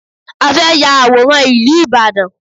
A fẹ́ ya àwòrán ìlú Ìbàdàn